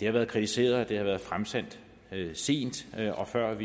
det har været kritiseret at det har været fremsendt sent og før det